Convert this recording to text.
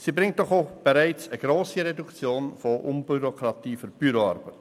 Der Vorschlag bringt bereits eine grosse Reduktion von Bürokratie und Büroarbeit.